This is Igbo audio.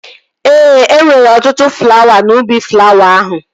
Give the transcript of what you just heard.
Ee, e nwere ọtụtụ flawa n'ubi flawa ahụ